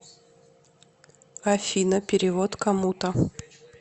афина перевод кому то